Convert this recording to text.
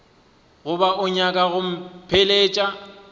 goba o nyaka go mpheleletša